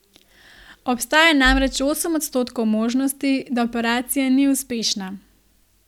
Obstaja namreč osem odstotkov možnosti, da operacija ni uspešna.